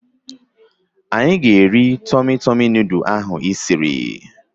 Anyị ga-eri Tọmị Tọmị nudụ ahụ ị siri